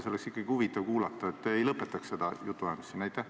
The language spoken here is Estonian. Seda oleks ikkagi huvitav kuulata, et ei lõpetaks seda jutuajamist siin niisama.